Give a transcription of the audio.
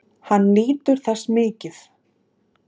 Hann nýtur þess mikið.